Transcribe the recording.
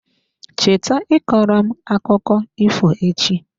Cheta ịkọrọ m akụkọ ifo echi.